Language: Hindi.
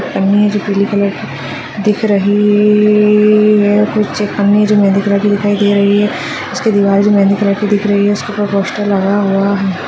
पन्नी है जो पीले कलर की दिख रही है तरह की दिखाई दे रही है उसकी दिवार जो मेहंदी कलर की दिख रही है उसके ऊपर पोस्टर लगा हुआ है।